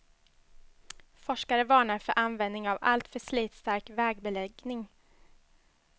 Forskare varnar för användning av alltför slitstark vägbeläggning.